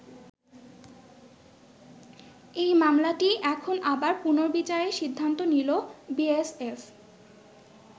এই মামলাটিই এখন আবার পুনর্বিচারের সিদ্ধান্ত নিল বিএসএফ।